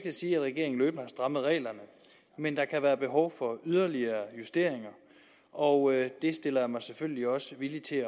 at sige at regeringen løbende har strammet reglerne men der kan være behov for yderligere justeringer og det stiller jeg mig selvfølgelig også villig til